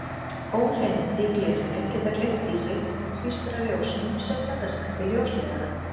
Óhreinindi í glerinu geta gleypt í sig eða tvístrað ljósinu sem ferðast eftir ljósleiðaranum.